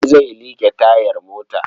Ali zai liƙe tayar mota.